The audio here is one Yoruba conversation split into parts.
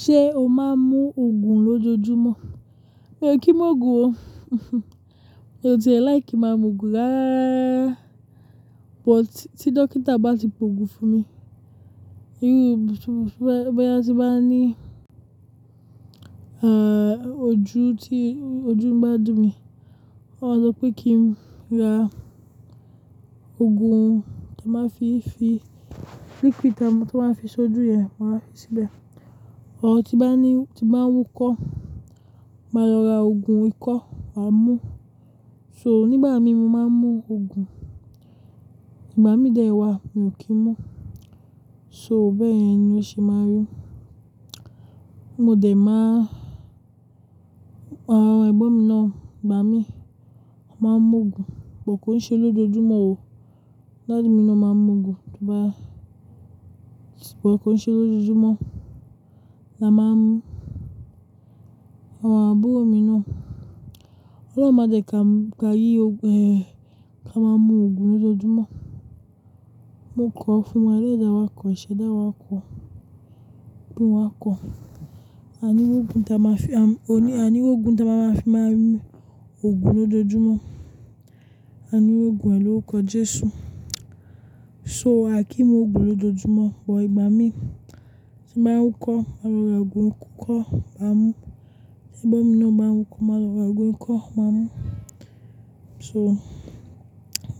Ṣé o máa ń mú òògùn lójoojúmọ́? Mi ò kí ń mu òògùn o. Mi ò ti like máa ń mu òògùn ráá, but tí dókítà bá ti po òògùn fún mi, bó yá ti bá ní, ah, ojú tí, ojú ń bá dú mi, ó máa sọ pé kí n ra òògùn tó máa fi fi, liquid tó máa fi so ojú yẹn, màá fi síbẹ̀. Ọ̀ tí bá ní, tí bá ń wúkọ́, màá lọ ra òògùn ikọ́, màá mú. So nígbà mi, mo máa ń mú òògùn. Ìgbà mí dẹ̀ wá, mi ò kí ń mú. So bẹ́ẹ̀ yẹn ni ó ṣe máa ń rí. Mo dẹ̀ máa, ah, ẹ̀gbọ́n mi nọ̀, ìgbà mí, ó máa ń mu òògùn, but kò ń ṣe lójoojúmọ́ o. Daddy mi nọ́ máa ń mu òògùn, to bá, but kò ń ṣe lójoojúmọ́. La máa mú. Àwọn àbúrò mi náà, Ọlọ́run máa jẹ kí a, ká yí, eh, ká máa mú òògùn lójoojúmọ́. Mo kọ fún wa ẹlẹdàá wá kọ, íṣẹ dà wá kọ, bí wá kọ. A ní rògùn tí a máa fi, a ní, a ní rògùn tí a máa fi máa mú òògùn lójoojúmọ́. A ní ròògùn ẹ̀ lóukọ Jesu. So, a kì í mu òògùn lójoojúmọ́, but ìgbà mí tí màá ń wúkọ́, màá lọ ra òògùn ikọ́, màá mú. Ẹ̀gbọ́n mi lọ́ máa ń wúkọ́, màá lọ ra òògùn ikọ́, màá mú. So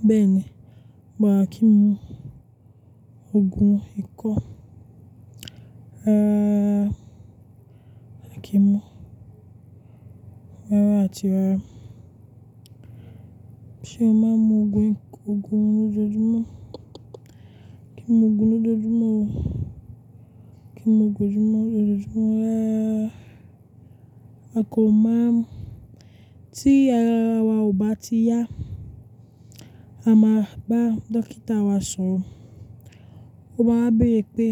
bẹ́ẹ̀ ni. But a kì í mú òògùn ikọ́. Ah, a kì í mú. Rárá àti rárá. Ṣé o máa ń mu òògùn, òògùn lójoojúmọ́? Kì í mu òògùn lójoojúmọ́ o. Kì í mu òògùn lójoojúmọ́ ráá ráá. A kò máa mú. Tí ara wa ò bá ti yá, a máa bá dókítà wa sọ̀rọ̀. Ó máa béèrè pé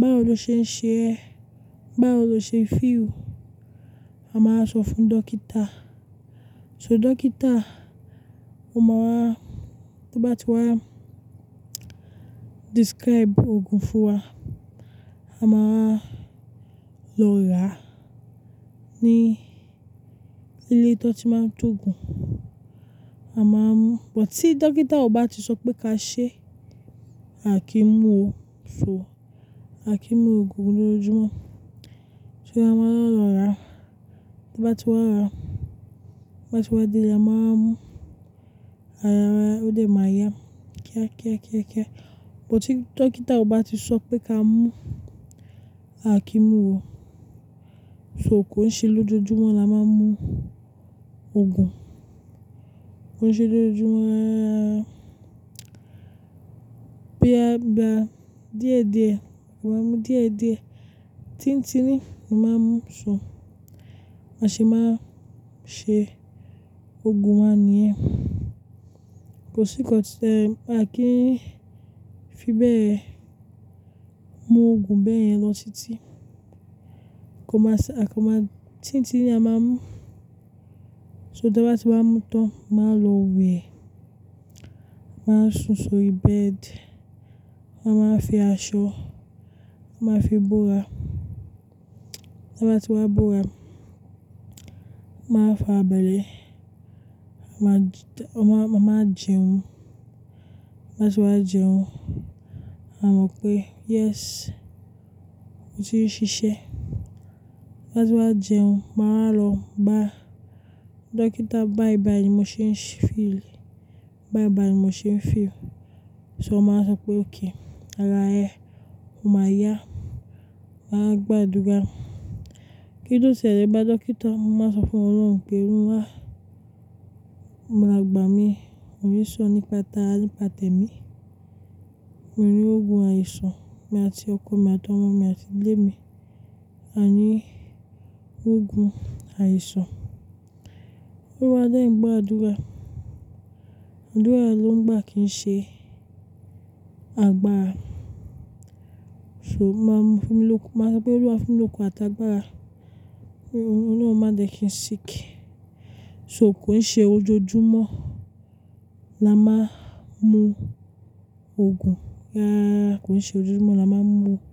báwo lo ṣe ń ṣe ẹ́? Báwo lo ṣe feel? A máa sọ fún dókítà. So dókítà, ó máa wá, tó bá ti wá describe òògùn fún wa, a máa lọ ra ní ilé tó ti máa ń tó òògùn, a máa mú. But tí dókítà ò bá ti sọ pé ka ṣe, a kì í mú o. So a kì í mu òògùn lójoojúmọ́. So a máa ń lọ ra, tó bá ti wá ra, bá ti wá dé, a máa mú. Ara wa a ó dẹ̀ máa yá kíákíákíá. But tí dókítà ò bá ti sọ pé ka mú, a kì í mú o. So kò ń ṣe lójoojúmọ́ la máa ń mú òògùn. Kò ń ṣe lójoojúmọ́ rá ráá. Bí a bá díẹ̀díẹ̀, wàá mú díẹ̀díẹ̀, tíntíní mo màá mú. So a ṣe máa ṣe òògùn wáa nìyẹn. Kò sí ń ṣe, a kì í fi bẹ́ẹ̀ mú òògùn bẹ́ẹ̀ yẹn lọ sí tì. Kò máa ṣa, a kò máa tíntíní a máa mú. So tó bá ti wá mú tán, màá lọ wẹ̀. Màá sùn sórí bed, màá fi aṣọ, màá fi bóra. Tó bá ti wá bóra, màá fa abẹ́rẹ́, màá, màá jẹun. Bá ti wá jẹun, màá mọ̀ pé yes, mo ti ń ṣiṣẹ́. Bá ti wá jẹun, màá lọ bá dókítà bái bái, mo ṣe ń feel. Bye bye, mo ṣe ń feel. So màá sọ pé okay, àrá ẹ, o máa yá. Màá gbàdúrà. Kíni ó ṣẹlẹ̀ bá dókítà? Mo máa sọ fún Ọlọ́run pé orun wá, maà gbà mi, mo rí ṣó nípa tara, ni pa tẹ̀mí. Mo rí rògùn àìsàn mi àti ọkọ mi àti ọmọ mi àti ilé mi. A ní òògùn àìsàn. Olúwa dẹ̀ n gbọàdúrà. Àdúrà ló ń gbà kí n ṣe àgbà. So màá mú fún mi lóko, màá sọ pé Olúwa fún mi lókun àtàgbàrà. Ọlọ́run máa jẹ kí n sì kí. So kò ń ṣe ójoojúmọ́ la máa ń mú òògùn. Ah, kò ń ṣe lójoojúmọ́ la máa ń mú òògùn.